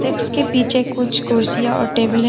Desk के पीछे कुछ कुर्सियां और टेबल है।